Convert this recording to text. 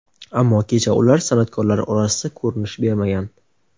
ammo kecha ular san’atkorlar orasida ko‘rinish bermagan.